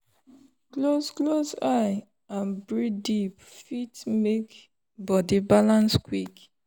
close close eye and breathe deep fit make body balance quick.